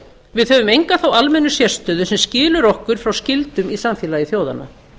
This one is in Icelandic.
við höfum enga þá almennu sérstöðu sem skilur okkur frá skyldum í samfélagi þjóðanna